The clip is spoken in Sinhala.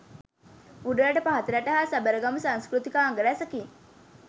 උඩරට පහතරට හා සබරගමු සංස්කෘතිකාංග රැසකින්